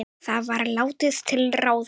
Það var látið ráða.